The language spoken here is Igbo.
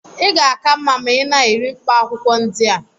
ị ga-aka mma ma ị na-eri mkpaakwụkwọ ndị a